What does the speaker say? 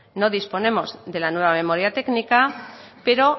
no disponemos de la nueva memoria técnica pero